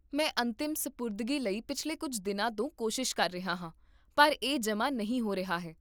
ਮੈਂ ਅੰਤਿਮ ਸਪੁਰਦਗੀ ਲਈ ਪਿਛਲੇ ਕੁੱਝ ਦਿਨਾਂ ਤੋਂ ਕੋਸ਼ਿਸ਼ ਕਰ ਰਿਹਾ ਹਾਂ, ਪਰ ਇਹ ਜਮ੍ਹਾਂ ਨਹੀਂ ਹੋ ਰਿਹਾ ਹੈ